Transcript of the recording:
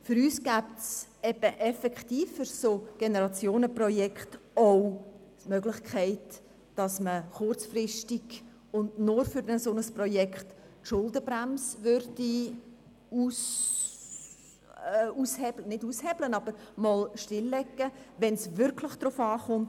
Für uns gäbe es für solche Generationenprojekte auch die Möglichkeit, dass man kurzfristig, und nur für ein solches Projekt, die Schuldenbremse aushebeln würde – nicht aushebeln, aber einmal stilllegen, wenn es wirklich darauf ankommt.